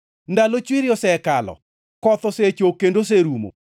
Ndalo chwiri osekalo; koth osechok kendo oserumo.